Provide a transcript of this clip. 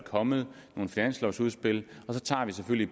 kommet nogle finanslovudspil og så tager vi selvfølgelig